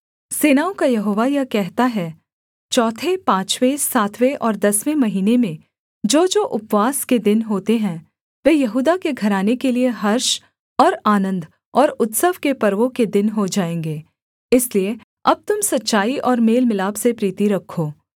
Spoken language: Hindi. सेनाओं का यहोवा यह कहता है चौथे पाँचवें सातवें और दसवें महीने में जोजो उपवास के दिन होते हैं वे यहूदा के घराने के लिये हर्ष और आनन्द और उत्सव के पर्वों के दिन हो जाएँगे इसलिए अब तुम सच्चाई और मेल मिलाप से प्रीति रखो